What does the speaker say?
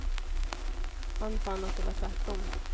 Han fann att det var tvärtom.